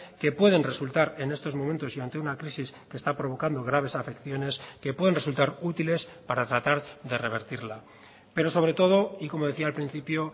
que pueden resultar en estos momentos y ante una crisis que está provocando graves afecciones que pueden resultar útiles para tratar de revertirla pero sobre todo y como decía al principio